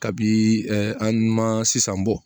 Kabi an ma sisan bɔ